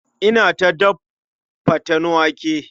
Inna ta daf faten wake.